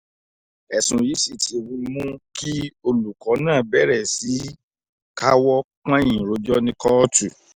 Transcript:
ẹ̀sùn yìí sì ti mú kí olùkọ́ náà bẹ̀rẹ̀ sí í káwọ́ pọ̀nyìn rojọ́ ní kóòtù